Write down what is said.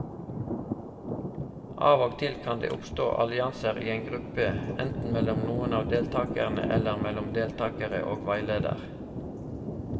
Av og til kan det oppstå allianser i en gruppe, enten mellom noen av deltakerne eller mellom deltakere og veileder.